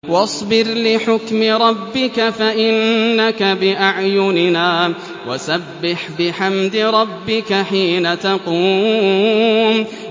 وَاصْبِرْ لِحُكْمِ رَبِّكَ فَإِنَّكَ بِأَعْيُنِنَا ۖ وَسَبِّحْ بِحَمْدِ رَبِّكَ حِينَ تَقُومُ